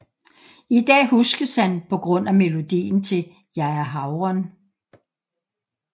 I dag huskes han på grund af melodien til Jeg er havren